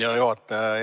Hea juhataja!